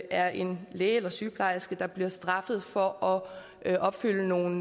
er en læge eller sygeplejerske der bliver straffet for at opfylde nogle